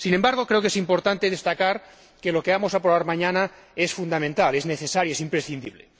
Sin embargo, creo que es importante destacar que lo que vamos a aprobar mañana es fundamental, es necesario, es imprescindible.